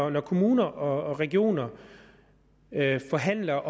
at når kommuner og regioner forhandler